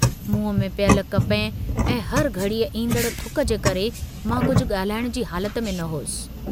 मुंह में पियल कपह ऐं हर घड़ीअ ईन्दड़ थुक जे करे मां कुझ गाल्हाइण जी हालत में न हुअसि।